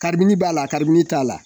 Karibini b'a la karibini t'a la